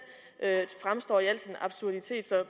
fremstår i al sin absurditet så